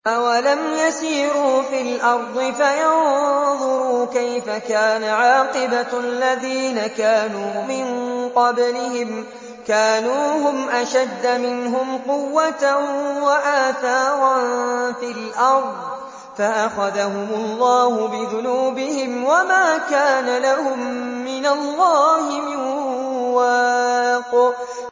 ۞ أَوَلَمْ يَسِيرُوا فِي الْأَرْضِ فَيَنظُرُوا كَيْفَ كَانَ عَاقِبَةُ الَّذِينَ كَانُوا مِن قَبْلِهِمْ ۚ كَانُوا هُمْ أَشَدَّ مِنْهُمْ قُوَّةً وَآثَارًا فِي الْأَرْضِ فَأَخَذَهُمُ اللَّهُ بِذُنُوبِهِمْ وَمَا كَانَ لَهُم مِّنَ اللَّهِ مِن وَاقٍ